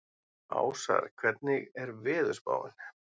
Ásar, hvernig er veðurspáin?